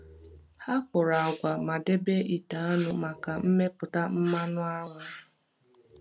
Ha kụrụ agwa ma debe ite aṅụ maka mmepụta mmanụ aṅụ.